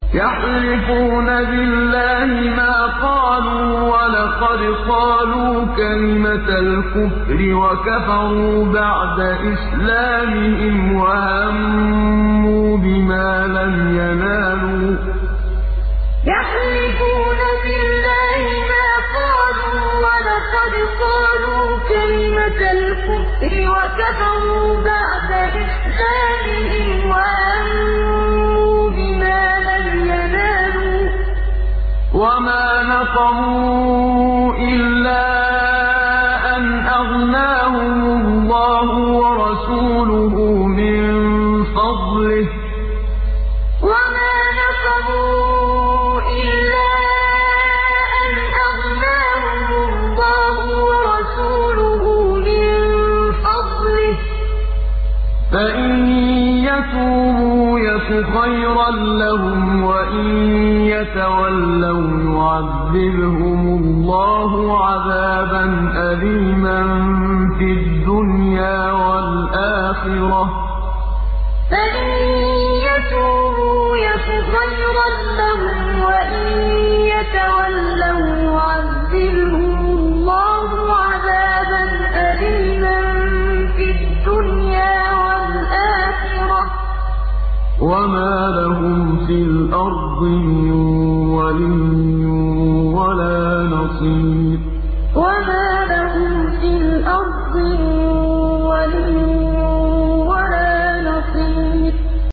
يَحْلِفُونَ بِاللَّهِ مَا قَالُوا وَلَقَدْ قَالُوا كَلِمَةَ الْكُفْرِ وَكَفَرُوا بَعْدَ إِسْلَامِهِمْ وَهَمُّوا بِمَا لَمْ يَنَالُوا ۚ وَمَا نَقَمُوا إِلَّا أَنْ أَغْنَاهُمُ اللَّهُ وَرَسُولُهُ مِن فَضْلِهِ ۚ فَإِن يَتُوبُوا يَكُ خَيْرًا لَّهُمْ ۖ وَإِن يَتَوَلَّوْا يُعَذِّبْهُمُ اللَّهُ عَذَابًا أَلِيمًا فِي الدُّنْيَا وَالْآخِرَةِ ۚ وَمَا لَهُمْ فِي الْأَرْضِ مِن وَلِيٍّ وَلَا نَصِيرٍ يَحْلِفُونَ بِاللَّهِ مَا قَالُوا وَلَقَدْ قَالُوا كَلِمَةَ الْكُفْرِ وَكَفَرُوا بَعْدَ إِسْلَامِهِمْ وَهَمُّوا بِمَا لَمْ يَنَالُوا ۚ وَمَا نَقَمُوا إِلَّا أَنْ أَغْنَاهُمُ اللَّهُ وَرَسُولُهُ مِن فَضْلِهِ ۚ فَإِن يَتُوبُوا يَكُ خَيْرًا لَّهُمْ ۖ وَإِن يَتَوَلَّوْا يُعَذِّبْهُمُ اللَّهُ عَذَابًا أَلِيمًا فِي الدُّنْيَا وَالْآخِرَةِ ۚ وَمَا لَهُمْ فِي الْأَرْضِ مِن وَلِيٍّ وَلَا نَصِيرٍ